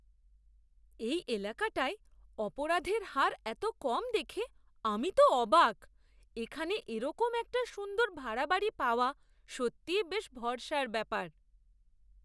এই এলাকাটায় অপরাধের হার এত কম দেখে আমি তো অবাক! এখানে এরকম একটা সুন্দর ভাড়া বাড়ি পাওয়া সত্যিই বেশ ভরসার ব্যাপার।